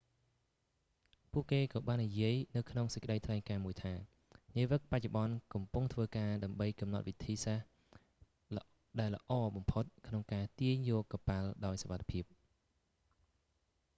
ពួកគេក៏បាននិយាយនៅក្នុងសេចក្តីថ្លែងការណ៍មួយថា នាវិកបច្ចុប្បន្នកំពុងធ្វើការ ដើម្បីកំណត់វិធី សាស្ត្រដែលល្អបំផុតក្នុងការទាញយកកប៉ាល់ដោយសុវត្ថិភាព